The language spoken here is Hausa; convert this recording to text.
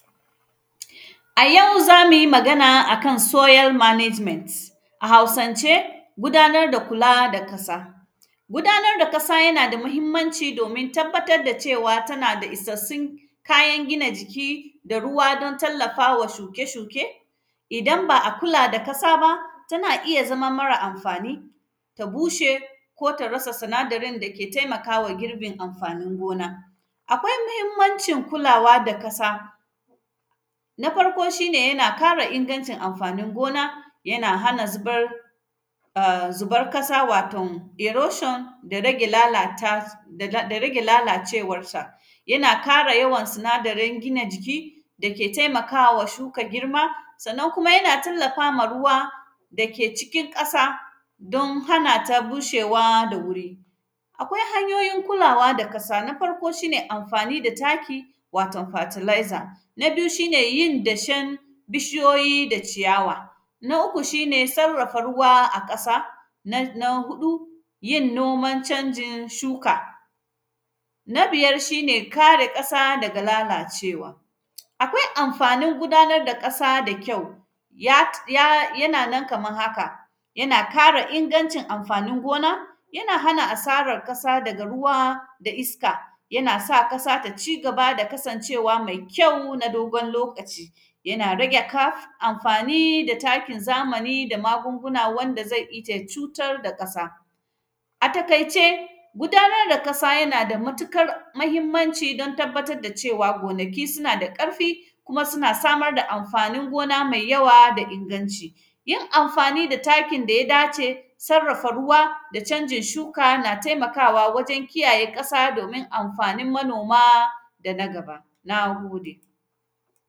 A yau za mu yi magana a kan “soil management”, a Hausance, gudanar da kula da kasa. Gudanar da kasa, yana da muhimmanci domin tabbatar da cewa tana da isassun kayan gina jiki da ruwa don tallafa wa shuke-shuke. Idan ba a kula da kasa ba, tana iya zama mara amfani, ta bushe ko ta rasa sinadarin da ke temaka wa girbin amfanin gona. Akwai mhuhimmancin kulawa da kasa, na farko, shi ne yana kara ingancin amfanin gona, yana hana zibar; a zibar kasa, waton “erosion” da rage lalata, da; da; da rage lalacewarsa. Yana kara yawan sinadaren gina jiki, dake temaka wa shuka girma. Sannan kuma, yana tallafa ma ruwa da ke cikin ƙasa, don hana ta bushewa da wuri. Akwai hanyoyin kulawa da kasa, na farko, shi ne amfani da taki, waton fatalaiza. Na biyu, shi ne yin dashen bishiyoyi da ciyawa. Na uku, shi ne sarrafa ruwa a ƙasa, na; na huɗu, yin noman canjin shuka, na biyar, shi ne kare ƙasa daga lalacewa. Akwai amfanin gudanar da ƙasa da kyau, yat; ya; yana nan kaman haka, yana kara ingancin amfanin gona, yana hana asarar kasa daga ruwa da iska. Yana sa kasa ta ci gaba da kasancewa me kyau na dogon lokaci, yana rage kaf; amfani da takin zamani da magunguna wanda ze ita cutar da ƙasa. A takaice, gudanar da kasa, yana da matikar mahimmanci don tabbatar da cewa, gonaki suna da ƙarfi, kuma suna samar da amfanin gona mai yawa da inganci. Yin amfani da takin da ya dace, sarrafa ruwa da canjin shuka, na temaka wa wajen kiyaye ƙasa domin amfanin manoma da na gaba, na gode.